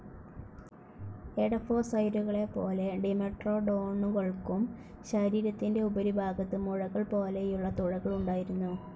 എഡഫോസൌരുകളെപോലെ ഡിമെട്രോഡോനുകൾക്കും ശരീരത്തിൻ്റെ ഉപരിഭാഗത്ത് മുഴകൾപോലെയുള്ള തുഴകൾ ഉണ്ടായിരുന്നു.